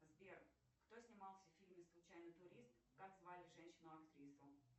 сбер кто снимался в фильме случайный турист как звали женщину актрису